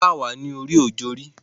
Wọ́n kà wá ní oríòjorí.